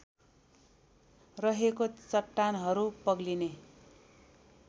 रहेको चट्टानहरू पग्लिने